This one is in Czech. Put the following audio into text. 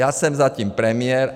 Já jsem zatím premiér.